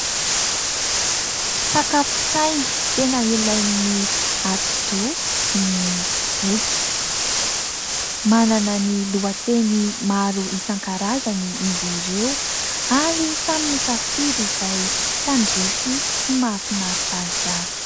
Sakafon-tsaina tena ilain'ny atidoha ny boky. Manana ny lohateny maro isan-karazany izy ireo ary samy misafidy izay tandrify sy mahafinaritra azy avy.